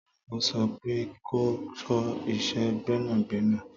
Mo so fun pe kò kọ ìṣe Gbẹ́nàgbẹ́nà